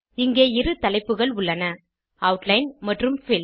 இங்கே இரு தலைப்புகள் உள்ளன ஆட்லைன் மற்றும் பில்